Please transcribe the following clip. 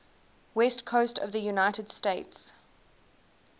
west coast of the united states